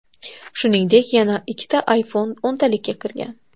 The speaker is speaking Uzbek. Shuningdek, yana ikkita iPhone o‘ntalikka kirgan.